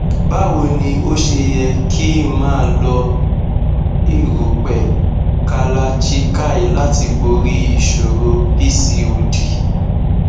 bawo ni o se yẹ ki n ma lo erupẹ kalachikai lati bori iṣoro pcod